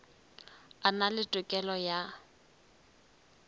a na le tokelo ya